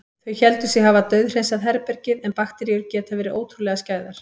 Þau héldu sig hafa dauðhreinsað herbergið- en bakteríur geta verið ótrúlega skæðar.